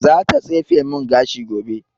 Za ta tsefe mun gashi gobe